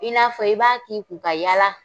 I n'a fɔ i b'a k'i kun ka yaala